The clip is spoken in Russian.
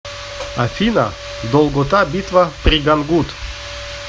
афина долгота битва при гангут